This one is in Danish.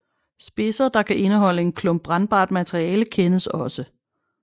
Spidser der kan indeholde en klump brændbart materiale kendes også